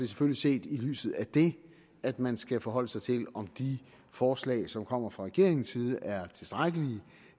selvfølgelig set i lyset af det at man skal forholde sig til om de forslag som kommer fra regeringens side er tilstrækkelige